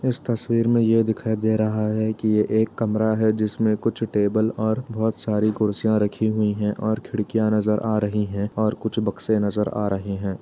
इस तस्वीर में ये दिखाई दे रहा है कि ये एक कमरा है जिसमें कुछ टेबल और बहोत सारी कुर्सियां रखी हुईं हैं और खिड़कियाँ नज़र आ रहीं हैं और कुछ बक्से नज़र आ रहें हैं।